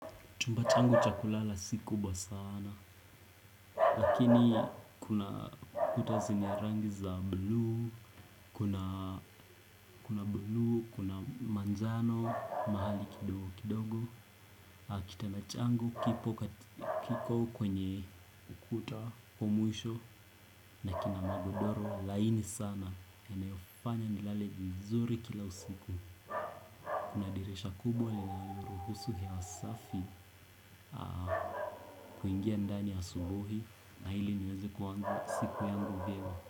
Chumba changu cha kulala si kubwa sana lakini kuna kuta zina rangi za bluu kuna bluu kuna manjano mahali kidogo kidogo. Kitanda changu kiko kwenye ukuta wa mwisho, na kina magodoro laini sana, yenye hufanya nilale vizuri kila usiku. Kuna dirisha kubwa linaloruhusu hewa safi kuingia ndani asubuhi na ili niweze kuaanza siku yangu vyema.